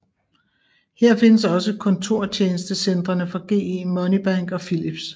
Her findes også kontortjenestecentrene for GE Money Bank og Philips